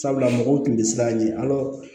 Sabula mɔgɔw tun tɛ siran ɲɛ a la